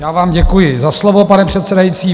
Já vám děkuji za slovo, pane předsedající.